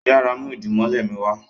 yàrá mú idimole mi wá.